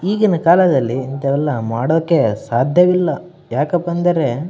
ಈಗಿನ ಕಾಲದಲ್ಲಿ ಇದೆಲ್ಲ ಮಾಡೊಕೆ ಸಾಧ್ಯವಿಲ್ಲ ಯಾಕ್ಕಪಾ ಅಂದ್ರೆ --